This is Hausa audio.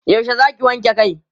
yaushe Zaki wanke Kai?